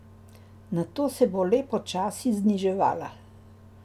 Nato se bo le počasi zniževala.